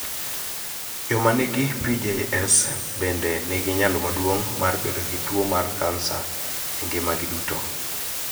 Joma nigi PJS bende nigi nyalo maduong� mar bedo gi tuo mar kansa e ngimagi duto.